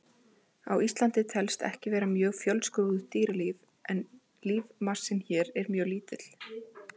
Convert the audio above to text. Á Íslandi telst ekki vera mjög fjölskrúðugt dýralíf og er lífmassinn hér mjög lítill.